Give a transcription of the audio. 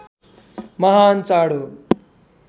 महान् चाड हो